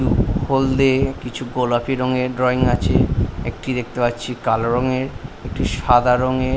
হলদে কিছু গোলাপি রঙে ড্রইং আছে একটি দেখতে পাচ্ছি কালো রঙের একটি সাদা রংয়ের--